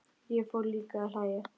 Ég fór líka að hlæja.